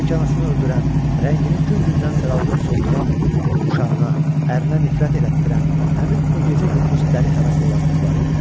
Bəlkə anasını öldürən, rəngini gün-gündən saraldıb-solduran, uşağına, ərinə nifrət elətdirən həmin o gecə-gündüz dəli həvəslə yazdıqları idi?